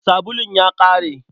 Sabulun ya ƙare.